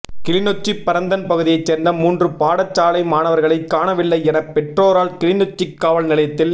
கிளிநொச்சி பரந்தன் பகுதியை சேர்ந்த மூன்று பாடசாலை மாணவர்களை காணவில்லை என பெற்றோரால் கிளிநொச்சி காவல் நிலையத்தில்